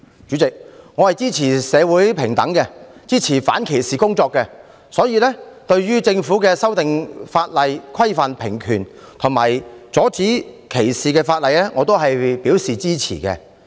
主席，我支持社會平等，支持反歧視工作，對政府修訂法例以規範平權及阻止歧視表示支持。